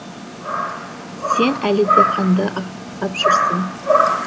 сен әлі де қанды аңсап жүрсің